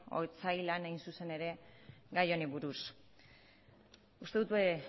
otsailean hain zuzen ere gai honi buruz uste dut